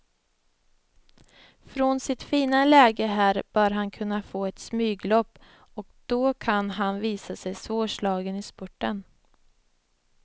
Från sitt fina läge här bör han kunna få ett smyglopp och då kan han visa sig svårslagen i spurten.